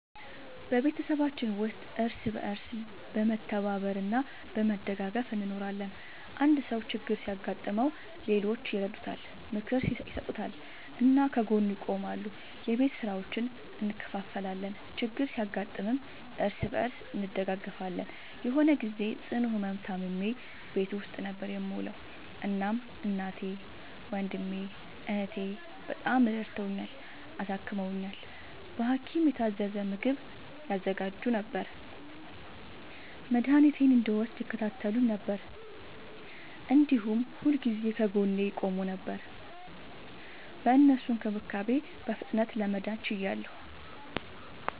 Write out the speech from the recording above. በቤተሰባችን ውስጥ እርስ በርስ በመተባበር እና በመደጋገፍ እንኖራለን። አንድ ሰው ችግር ሲያጋጥመው ሌሎቹ ይረዱታል፣ ምክር ይሰጡታል እና ከጎኑ ይቆማሉ። የቤት ስራዎችን እንከፋፈላለን፣ ችግር ሲያጋጥምም እርስ በርስ እንደጋገፋለን። የሆነ ግዜ ጽኑ ህመም ታምሜ ቤት ውስጥ ነበር የምዉለዉ። እናም እናቴ፣ ወንድሜ፣ እህቴ፣ በጣም ረድተዉኛል፣ አሳክመዉኛል። በሀኪም የታዘዘ ምግብ ያዘጋጁ ነበር፣ መድኃኒቴን እንድወስድ ይከታተሉኝ ነበር፣ እንዲሁም ሁልጊዜ ከጎኔ ይቆሙ ነበር። በእነሱ እንክብካቤ በፍጥነት ለመዳን ችያለሁ።